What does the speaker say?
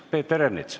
Peeter Ernits.